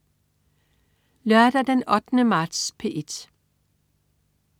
Lørdag den 8. marts - P1: